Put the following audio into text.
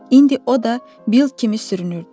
İndi o da Bill kimi sürünürdü.